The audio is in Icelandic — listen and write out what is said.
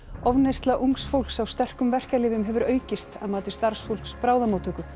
ofneysla ungs fólks á sterkum verkjalyfjum hefur aukist að mati starfsfólks bráðamóttöku